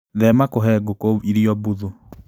Thema kũhe ngũku irio mbuthu.